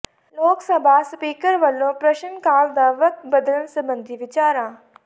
ਲੋਕ ਸਭਾ ਸਪੀਕਰ ਵੱਲੋਂ ਪ੍ਰਸ਼ਨ ਕਾਲ ਦਾ ਵਕਤ ਬਦਲਣ ਸਬੰਧੀ ਵਿਚਾਰਾਂ